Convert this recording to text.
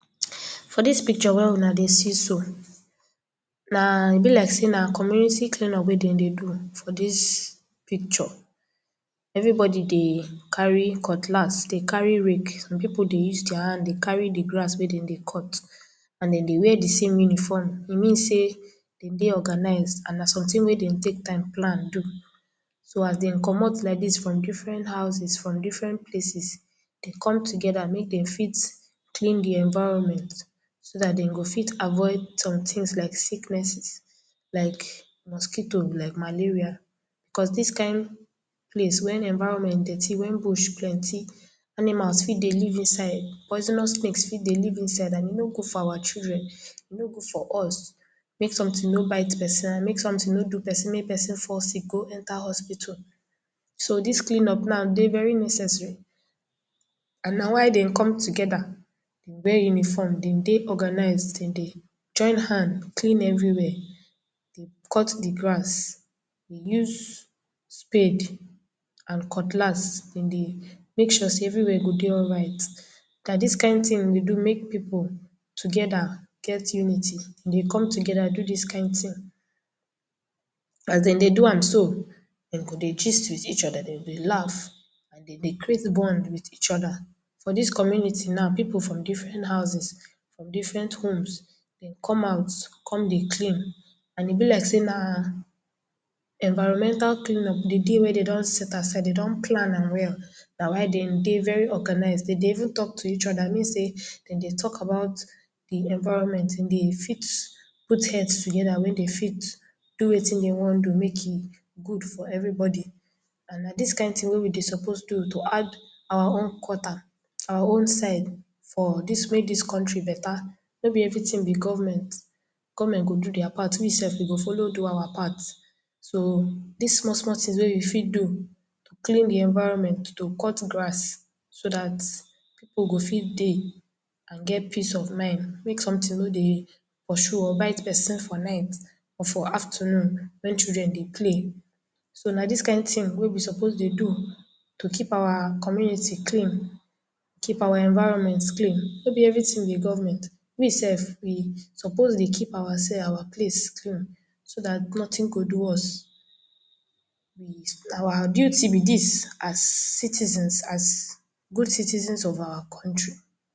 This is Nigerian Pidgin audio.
For dis picture wey you na dey see so, na e be like say na community clean up wey dem dey do for dis picture everybody dey carry cutlass, dey carry rake, some people dey use dia hands dey carry the grass wey dem dey cut and di way di meaning form say e mean say dem dey organize and na something wey dem dey take time plan do so as dem comot like dis from different houses from different places dey come together make dem fit clean di environment so dat Dem go fit avoid some things like sicknesses like mosquito like malaria because dis kind place wia environment dirty wia bush plenty, animal fit dey live inside poisonous snake fit dey live inside and e no good for our children e no good for us make something no bit person and make something no do person make person fall sick go enter hospital so dis clean up now dey very necessary and now why dem come together dey bear uniform Dem dey organize, dem join hands do everything clean everywhere dey cut the grass dey use spade and cutlass dem dey make sure everywhere na dey alright na dis kind thing we do make people together and get unity dey come together do did kind thing as Dem dey do am so Dem go dey gist with each other Dem dey laugh dey create bond with each other for dis community now people from different houses from different homes, dem come out come dey clean and e be like say environmental clean up d day wey dem go don set aside dey don plan am well now why dey very organized, Dem dey even talk to each other meaning say Dem dey talk about the environment Dem dey fit put heads together wey dey fit do wetin dey wan do mak e good for everybody and na this kind thing we dey suppose do to add our own quarter our own side for dis wey dis country better no be everything be government, government go do dia part we sef we go follow do our part so dis small small tings wey you fit do to clean di environment to cut grass so that people go fit dey and get peace of mind mak something no dey pursue or bite person for night or for afternoon when children dey play so na dis kind thing wey we suppose dey do to keep our community clean keep our environment clean no be everything be government we sef we suppose dey keep ourselves our place clean so that nothing go do us we our beauty be dis as citizens as good citizens of our country